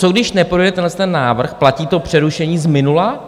Co když neprojde tenhleten návrh, platí to přerušení z minula?